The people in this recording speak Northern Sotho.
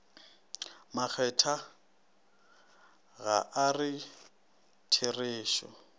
makgethwa ga a re therešo